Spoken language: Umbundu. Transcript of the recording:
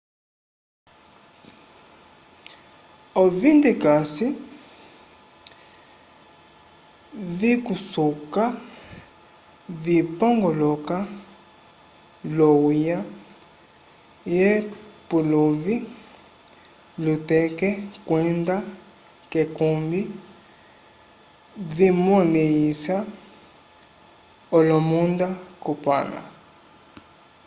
ovindekase vikusuka vipongoloka l'ohuya k'epuluvi lyuteke kwenda k'ekumbi vimolẽhisa olomunda kupãla